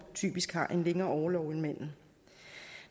typisk har en længere orlov end manden